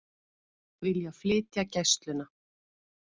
Vilja flytja Gæsluna